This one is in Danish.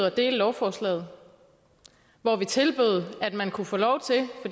at dele lovforslaget hvor vi tilbød at man kunne få lov til